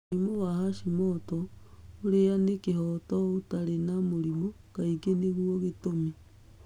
Mũrimũ wa hashimoto, ũrĩa nĩ kĩhoto ũtarĩ na mũrimũ, Kaingĩ nĩguo ngĩtũmi.